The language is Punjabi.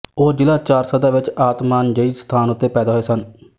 ਉਹ ਜ਼ਿਲ੍ਹਾ ਚਾਰਸਦਾ ਵਿੱਚ ਆਤਮਾਨਜਈ ਸਥਾਨ ਉੱਤੇ ਪੈਦਾ ਹੋਏ ਸਨ